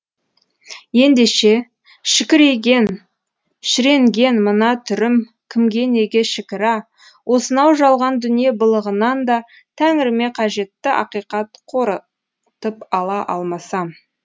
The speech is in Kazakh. ендеше шікірейген шіренген мына түрім кімге неге шікірә осынау жалған дүние былығынан да тәңіріме қажетті ақиқат қорытып ала алмасам